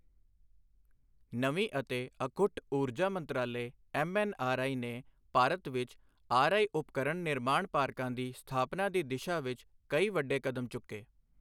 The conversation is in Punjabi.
ਨਵੀਂ ਅਤੇ ਅਖੁੱਟ ਊਰਜਾ ਮੰਤਰਾਲੇ ਐੱਮਐੱਨਆਰਈ ਨੇ ਭਾਰਤ ਵਿੱਚ ਆਰਈਉਪਕਰਣ ਨਿਰਮਾਣ ਪਾਰਕਾਂ ਦੀ ਸਥਾਪਨਾ ਦੀ ਦਿਸ਼ਾ ਵਿੱਚ ਕਈ ਵੱਡੇ ਕਦਮ ਚੁੱਕੇ।